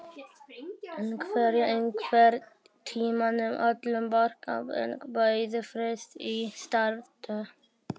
En verður einhvern tímann öllum borgarbúum boðið frítt í strætó?